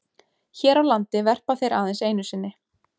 Hér á landi verpa þeir aðeins einu sinni.